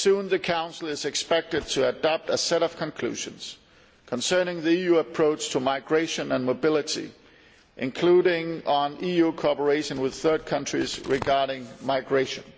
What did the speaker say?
The Council is expected to adopt a set of conclusions soon concerning the EU approach to migration and mobility, including on EU cooperation with third countries regarding migration.